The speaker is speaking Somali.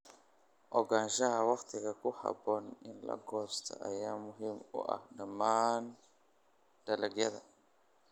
Ogaanshaha wakhtiga ku habboon in la goosto ayaa muhiim u ah dhammaan dalagyada.